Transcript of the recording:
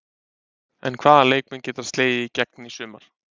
En hvaða leikmenn geta slegið í gegn í sumar?